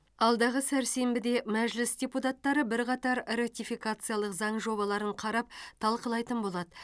алдағы сәрсенбіде мәжіліс депутаттары бірқатар ратификациялық заң жобаларын қарап талқылайтын болады